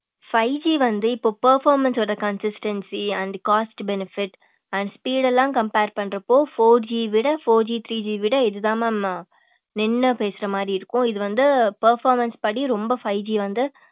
five G வந்து இப்ப performance ஓட consistancy and cost benefits and speed எல்லாம் compare பண்றப்போ four G விட four G three G விட இதுதான் mam நின்னு பேசுற மாரி இருக்கும் இது வந்து performance படி ரொம்ப five G வந்து